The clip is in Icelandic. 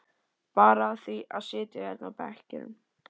Bara af því að sitja hérna á bekkjunum.